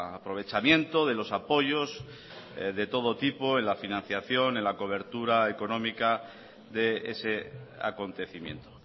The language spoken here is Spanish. aprovechamiento de los apoyos de todo tipo en la financiación en la cobertura económica de ese acontecimiento